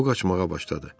O qaçmağa başladı.